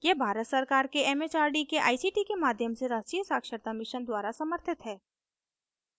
यह भारत सरकार के it it आर डी के आई सी टी के माध्यम से राष्ट्रीय साक्षरता mission द्वारा समर्थित है